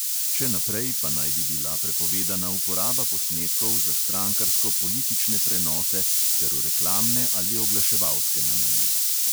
Še naprej pa naj bi bila prepovedana uporaba posnetkov za strankarsko politične prenose ter v reklamne ali oglaševalske namene.